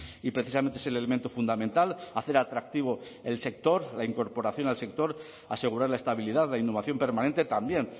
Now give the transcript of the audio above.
y precisamente es el elemento fundamental hacer atractivo el sector la incorporación al sector asegurar la estabilidad la innovación permanente también